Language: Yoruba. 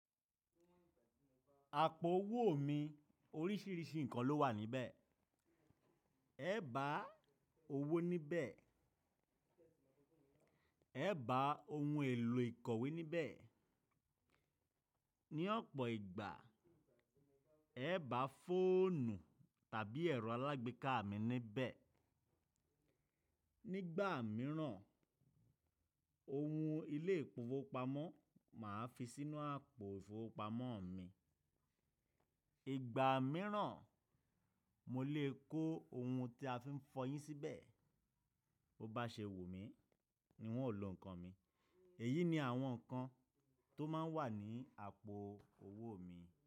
Àpò owó mi oríṣìíríṣìí nǹkan ló wà níbẹ̀. È bá owó níbẹ̀, è bá ohun èlò ìkọ̀wé níbẹ̀. Ni ọ̀pọ̀ ìgbà, è bá fóònù tàbí ẹ̀rọ alágbèéká mi níbẹ̀. Nígbà míràn, ohun ilé ìfowópamọ́ máa fi sínú àpò ìfowópamọ́ mi. Ìgbà míràn mo lè kó ohun tí a fi ń fọyín síbẹ̀. Bo bá ṣe wu mí ni wun ó lo nǹkan mi. Èyí ni àwọn nǹkan tó máa ń wà ní àpò owó mi.